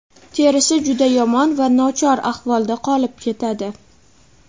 terisi juda yomon va nochor ahvolda qolib ketadi.